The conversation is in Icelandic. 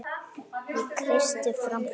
Ég kreisti fram bros.